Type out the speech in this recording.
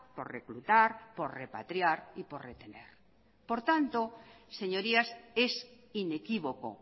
por reclutar por repatriar y por retener por tanto señorías es inequívoco